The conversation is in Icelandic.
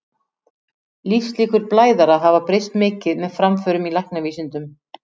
Lífslíkur blæðara hafa breyst mikið með framförum í læknavísindum.